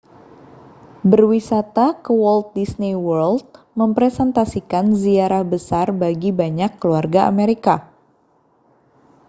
berwisata ke walt disney world merepresentasikan ziarah besar bagi banyak keluarga amerika